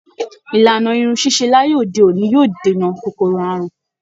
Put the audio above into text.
Ìlànà irun ṣíṣe láyé òde òní yóò dènà kòkòrò àrùn